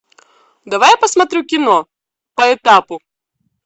давай я посмотрю кино по этапу